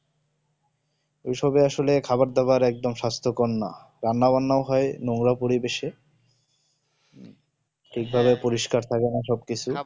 ঐসবে আসলে খাবার দাবার একদম সাস্থ কর না রান্না বান্না হয় নোংরা পরিবেশে ঠিক ভাবে পরিষ্কার থাকে না সব কিছু